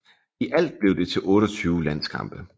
I alt blev det til 28 landskampe